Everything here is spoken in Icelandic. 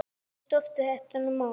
Hversu stórt er þetta mót?